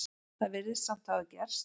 Það virðist samt hafa gerst.